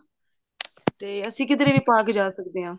ਤੇ ਅਸੀਂ ਕਿੱਧਰੇ ਵੀ ਪਾ ਕੇ ਜਾ ਸਕਦੇ ਹਾਂ